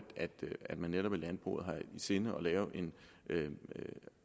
man i landbruget har i sinde at lave